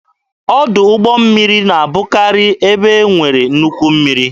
Ọdụ ụgbọ mmiri na-abụkari n'ebe e nwere nnukwu mmiri.